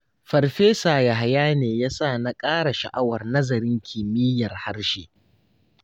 Farfesa Yahaya ne ya sa na ƙara sha'awar nazarin kimiyyar harshe.